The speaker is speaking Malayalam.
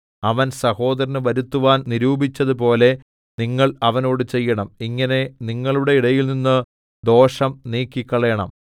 അവൻ സഹോദരന് വരുത്തുവാൻ നിരൂപിച്ചതുപോലെ നിങ്ങൾ അവനോട് ചെയ്യണം ഇങ്ങനെ നിങ്ങളുടെ ഇടയിൽനിന്ന് ദോഷം നീക്കിക്കളയണം